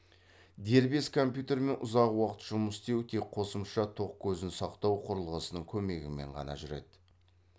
дербес компьютермен ұзақ уақыт жұмыс істеу тек қосымша тоқ көзін сақтау құрылғысының көмегімен қана жүреді